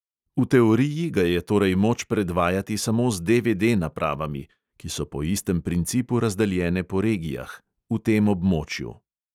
V teoriji ga je torej moč predvajati samo z DVD napravami (ki so po istem principu razdeljene po regijah) v tem območju.